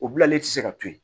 O bilalen tɛ se ka to yen